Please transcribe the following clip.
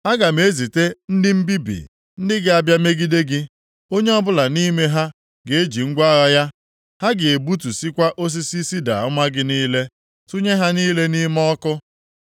Aga m ezite ndị mbibi ndị ga-abịa megide gị. Onye ọbụla nʼime ha ga-eji ngwa agha ya. Ha ga-egbutusịkwa osisi sida ọma gị niile, tụnye ha niile nʼime ọkụ.